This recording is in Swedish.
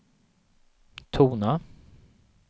tona